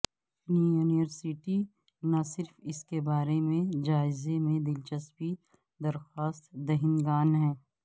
university نہ صرف اس کے بارے میں جائزے میں دلچسپی درخواست دہندگان